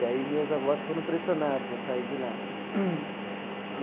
E aí meus avós foram pressionados a sair de lá.